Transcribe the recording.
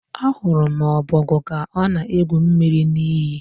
Ahụrụ m ọbogwu ka ọ na-egwu mmiri n'iyi.